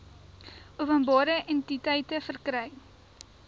openbare entiteite verkry